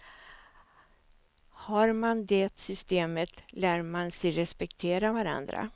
Har man det systemet, lär man sig respektera varandra.